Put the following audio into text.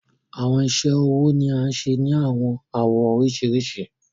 Awọn iṣẹ-ọwọ ni a ń ṣe ni awọn awọ oriṣirisi